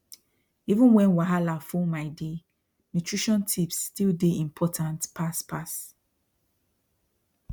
even when wahala full my day nutrition tips still dey important pass pass